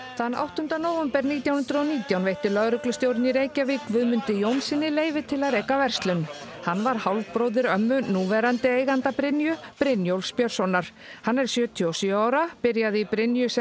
þann áttunda nóvember nítján hundruð og nítján veitti lögreglustjórinn í Reykjavík Guðmundi Jónssyni leyfi til að reka verslun hann var hálfbróðir ömmu núverandi eiganda Brynju Brynjólfs Björnssonar hann er sjötíu og sjö ára byrjaði í Brynju sem